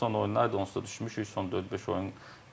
Son oyunlardır, onsuz da düşmüşük, son 4-5 oyun.